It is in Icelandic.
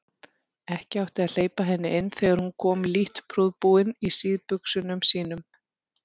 Ekki átti að hleypa henni inn þegar hún kom lítt prúðbúin í síðbuxunum sínum.